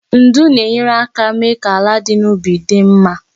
Ndu na-enyere aka mee ka ala dị n'ubi dị mma